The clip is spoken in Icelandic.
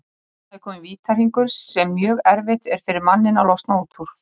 Þarna er kominn vítahringur sem mjög erfitt er fyrir manninn að losna út úr.